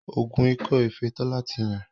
oògùn Ikọ efée Tola tí Yàn.